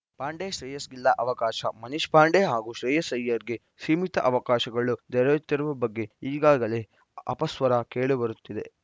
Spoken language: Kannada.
ಪಾಂಡೆ ಶ್ರೇಯಸ್‌ಗಿಲ್ಲ ಅವಕಾಶ ಮನೀಶ್‌ ಪಾಂಡೆ ಹಾಗೂ ಶ್ರೇಯಸ್‌ ಅಯ್ಯರ್‌ಗೆ ಸೀಮಿತ ಅವಕಾಶಗಳು ದೊರೆಯುತ್ತಿರುವ ಬಗ್ಗೆ ಈಗಾಗಲೇ ಅಪಸ್ವರ ಕೇಳಿಬರುತ್ತಿದೆ